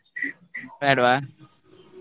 ಬೇಡ್ವ?